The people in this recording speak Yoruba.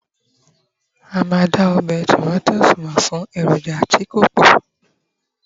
a o ma da ọbè Timoti mọ fún eroja ti ko pọ